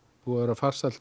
búinn að vera farsæll